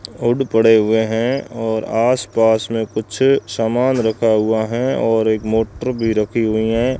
और पड़े हुए हैं और आस पास में कुछ सामान रखा हुआ है और एक मोटर भी रखी हुई है।